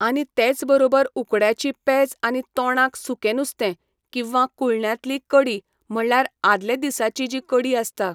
आनी तेच बरोबर उकड्याची पेज आनी तोंडांक सुकें नुस्ते किंवां कुळण्यांतली कडी म्हळ्यार आदलें दिसाची जी कडी आसता